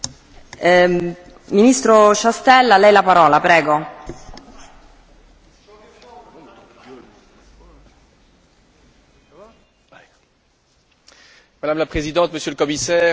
Madame la Présidente, Monsieur le Commissaire, chers collègues, vous l'aurez compris au travers de ma première intervention, le Conseil est bien conscient des obligations découlant de l'article 9 du traité sur le fonctionnement de l'Union européenne en ce qui concerne la nécessité